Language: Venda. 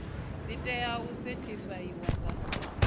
dzi tea u sethifaiwa nga